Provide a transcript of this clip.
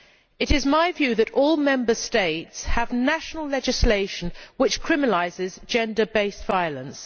It is my view that all Member States have national legislation which criminalises gender based violence.